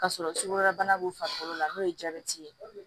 K'a sɔrɔ sukaro bana b'u farikolo la n'o ye jabɛti ye